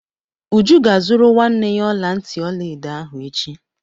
Uju ga-azụrụ nwanne ya ọla ntị ọla edo ahụ echi.